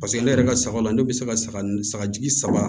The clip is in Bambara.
Paseke ne yɛrɛ ka sagaw la ne bɛ se ka saga saga jigi saba